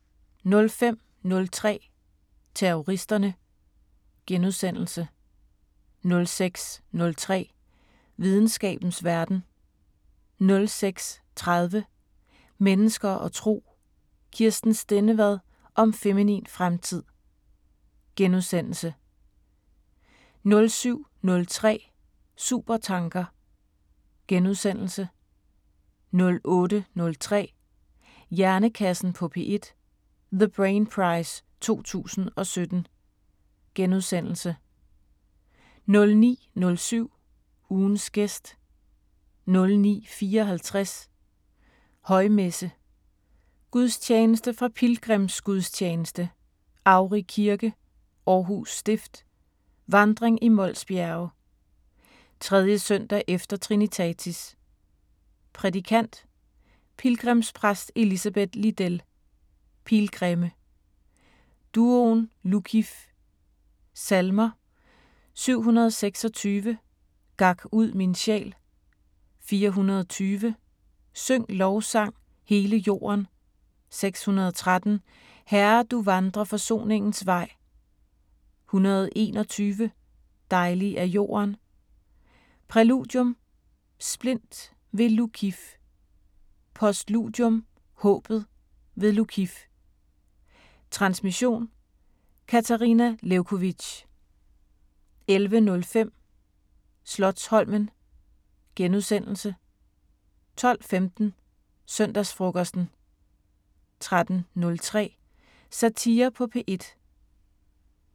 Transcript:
05:03: Terroristerne * 06:03: Videnskabens Verden * 06:30: Mennesker og Tro: Kirsten Stendevad om feminin fremtid * 07:03: Supertanker * 08:03: Hjernekassen på P1: The Brain Prize 2017 * 09:07: Ugens gæst 09:54: Højmesse - Gudstjeneste fra Pilgrimsgudstjeneste, Agri Kirke, Aarhus Stift, vandring i Mols Bjerge. 3. søndag efter trinitatis. Prædikant: Pilgrimspræst Elisabeth Lidell. Pilgrimme. Duoen Lukkif. Salmer: 726: "Gak ud min sjæl" 420: "Syng lovsang, hele jorden" 613: "Herre, du vandrer forsoningens vej" 121: "Dejlig er jorden" Præludium: 'Splint' v/ Lukkif. Postludium: 'Håbet' v/ Lukkif. Transmission: Katarina Lewkovitch. 11:05: Slotsholmen * 12:15: Søndagsfrokosten 13:03: Satire på P1